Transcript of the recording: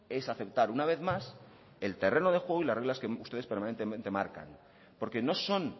es a aceptar una vez más el terreno de juego y las reglas que ustedes permanentemente marcan porque no son